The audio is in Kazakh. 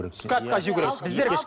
түскі асқа жеу керек